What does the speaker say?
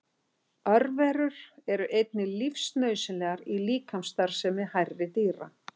Örverur eru einnig lífsnauðsynlegar í líkamsstarfsemi hærri dýra.